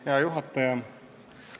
Hea juhataja!